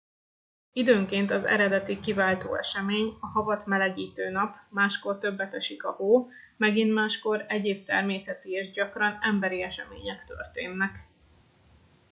időnként az eredeti kiváltó esemény a havat melegítő nap máskor többet esik a hó megint máskor egyéb természeti és gyakran emberi események történnek